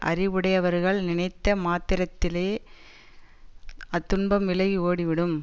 அறிவுடையவர்கள் நினைத்த மாத்திரத்திலேயே அத்துன்பம் விலகி ஓடி விடும்